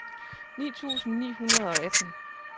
ni tusind ni hundrede og atten